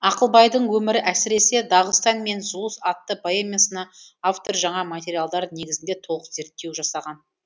ақылбайдың өмірі әсіресе дағыстан мен зұлыс атты поэмасына автор жаңа материалдар негізінде толық зерттеу жасаған